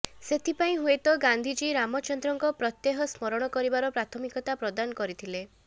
ସେଥିପାଇଁ ହୁଏତ ଗାନ୍ଧିଜୀ ରାମଚନ୍ଦ୍ରଙ୍କ ପ୍ରତ୍ୟେହ ସ୍ମରଣ କରିବାର ପ୍ରାଥମିକତା ପ୍ରଦାନ କରିଥିଲେ